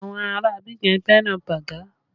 Àwọn ará Abidjan fẹ́ràn bágà